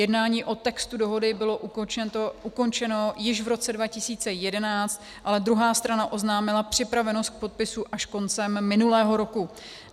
Jednání o textu dohody bylo ukončeno již v roce 2011, ale druhá strana oznámila připravenost k podpisu až koncem minulého roku.